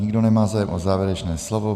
Nikdo nemá zájem o závěrečné slovo.